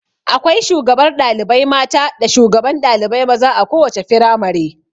Akwai shugabar ɗalibai mata da shugaban ɗalibai maza a kowace firamare.